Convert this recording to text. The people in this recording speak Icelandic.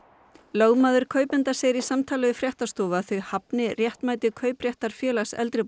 lögmaður kaupenda segir í samtali við Fréttastofu að þau hafni réttmæti kaupréttar Félags eldri